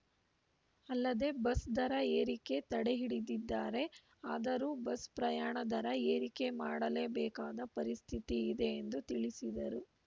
ಅಲ್ಲದೇ ಬಸ್‌ ದರ ಏರಿಕೆ ತಡೆ ಹಿಡಿದಿದ್ದಾರೆ ಆದರೂ ಬಸ್‌ ಪ್ರಯಣ ದರ ಏರಿಕೆ ಮಾಡಲೇ ಬೇಕಾದ ಪರಿಸ್ಥಿತಿ ಇದೆ ಎಂದು ತಿಳಿಸಿದರು